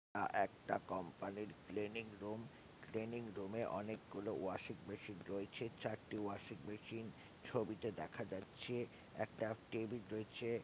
আ একটা কোম্পানির cleaning room training room এ অনেকগুলো ওয়াশিং মেশিন রয়েছে চারটি ওয়াশিং মেশিন ছবিটা দেখা যাচ্ছে একটা টেবিল রয়েছে।